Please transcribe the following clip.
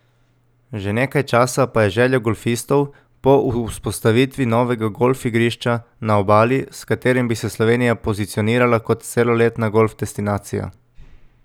Že nekaj časa pa je želja golfistov po vzpostavitvi novega golf igrišča na Obali, s katerim bi se Slovenija pozicionirala kot celoletna golf destinacija.